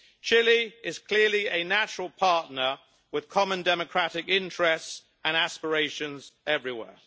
Chile is clearly a natural partner with common democratic interests and aspirations everywhere.